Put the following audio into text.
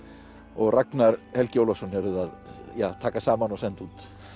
og Ragnar Helgi Ólafsson eruð að taka saman og senda út